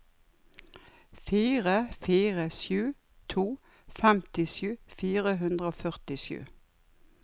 fire fire sju to femtisju fire hundre og førtisju